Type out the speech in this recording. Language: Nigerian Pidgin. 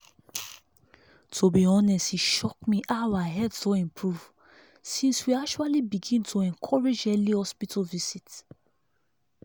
to be honest e shock me how our health don improve since we actually begin to encourage early hospital visit.